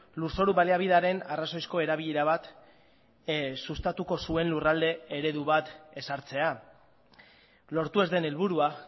lurzoru baliabidearen arrazoizko erabilera bat sustatuko zuen lurralde eredu bat ezartzea lortu ez den helburua